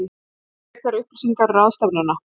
Frekari upplýsingar um ráðstefnuna